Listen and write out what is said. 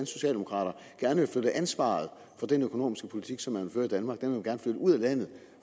socialdemokrater gerne vil flytte ansvaret for den økonomiske politik som man vil føre i danmark ud af landet